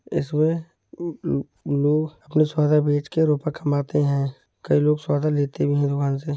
इसमें म्म मशाला बेचकर रुपए कमाते हैं। कई लोग सौदा लेते भी हैं दुकान से।